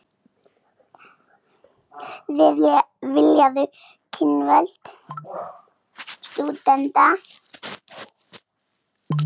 Vilja aukin völd stúdenta